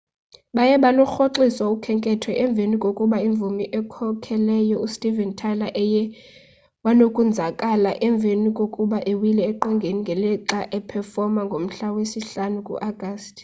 baye balurhoxisa ukhenketho emveni kokuba imvumi ekhokhelayo u steven tyler eye wanokwenzakala emveni kokuba ewile eqongeni ngelixa uphefoma ngomhla we sihlanu ku augusti